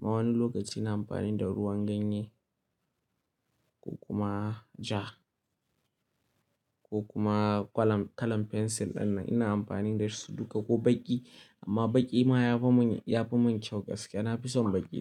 Ma wani lokaci na amfani da ruwan ganye ko kuma ja ko kuma gwalam kalam pencil danna ina amfani da su duka ko baƙi. Amma baƙi ma yafi min, yafi min kyau gaskiya. Na fi son baƙi.